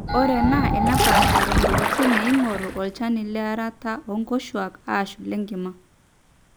ore enaa enepaashari iwuejitin neeing'oru olchani learata oonkoshuuak aashu ilenkima